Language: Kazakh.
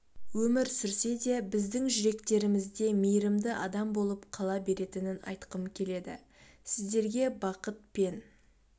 өмір сүрсе де біздің жүректерімізде мейірімді адам болып қала беретінін айтқым келеді сіздерге бақыт пен